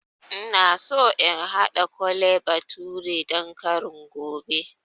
Ina so in haɗa Kole bathure dan kari gobe